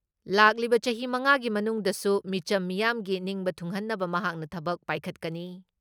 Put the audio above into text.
ꯂꯥꯛꯂꯤꯕ ꯆꯍꯤ ꯃꯉꯥ ꯒꯤ ꯃꯅꯨꯡꯗꯁꯨ ꯃꯤꯆꯝ ꯃꯤꯌꯥꯝꯒꯤ ꯅꯤꯡꯕ ꯊꯨꯡꯍꯟꯅꯕ ꯃꯍꯥꯛꯅ ꯊꯕꯛ ꯄꯥꯏꯈꯠꯀꯅꯤ ꯫